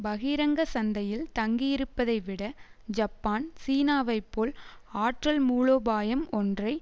பகிரங்க சந்தையில் தங்கியிருப்பதை விட ஜப்பான் சீனாவை போல் ஆற்றல் மூலோபாயம் ஒன்றை